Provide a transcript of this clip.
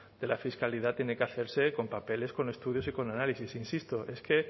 de la fiscalidad tiene que hacerse con papeles con estudios y con análisis insisto es que